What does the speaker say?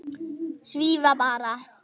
Svífa bara.